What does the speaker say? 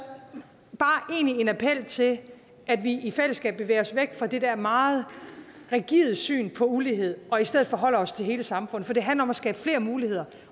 bare appellere til at vi i fællesskab bevæger os væk fra det der meget rigide syn på ulighed og i stedet forholder os til hele samfundet for det handler om at skabe flere muligheder